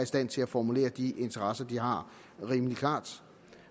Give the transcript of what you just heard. stand til at formulere de interesser de har rimelig klart